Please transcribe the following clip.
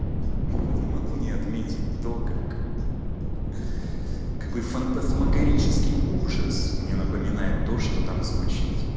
ха-ха могу не отметить то как какой фантасмагорический ужас мне напоминает то что там звучит